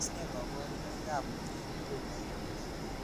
Tos ne kaburunoik ab mnyeni tomo kenai?